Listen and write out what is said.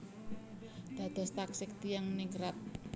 Dados taksih tiyang ningrat